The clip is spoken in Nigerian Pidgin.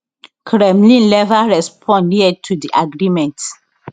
kremlin never respond yet to di agreement